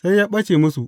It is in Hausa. Sai ya ɓace musu.